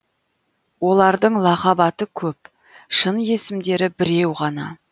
олардың лақап аты көп шын есімдері біреу ғана